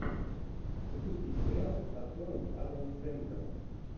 запусти сериал с актером адамом сендлером